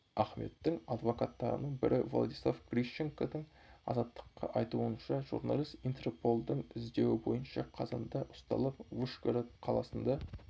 ахметтің адвокаттарының бірі владислав грищенконың азаттыққа айтуынша журналист интерполдың іздеуі бойынша қазанда ұсталып вышгород қаласында